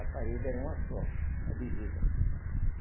A parede era uma só, a divisa.